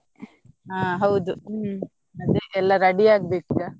ಹ ಹೌದು ಹ್ಮ್ ಅದೆ ಎಲ್ಲ ready ಆಗ್ಬೇಕು ಈಗ.